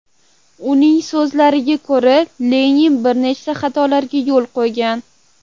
Uning so‘zlariga ko‘ra, Lenin bir nechta xatolarga yo‘l qo‘ygan.